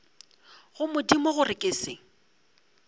go modimo gore ke se